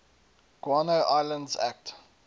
guano islands act